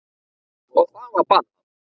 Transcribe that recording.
Og það var bannað.